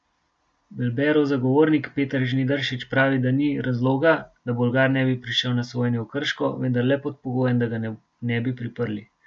Belberov zagovornik Peter Žnidaršič pravi, da ni razloga, da Bolgar ne bi prišel na sojenje v Krško, vendar le pod pogojem, da ga ne bi priprli.